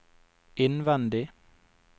innvendig